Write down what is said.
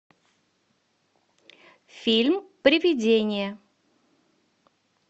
фильм привидение